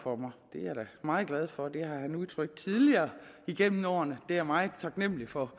for mig det er jeg da meget glad for det har han udtrykt tidligere gennem årene og det er jeg meget taknemlig for